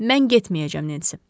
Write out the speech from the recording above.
Mən getməyəcəm, Nensi.